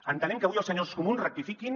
entenem que avui els senyors comuns rectifiquin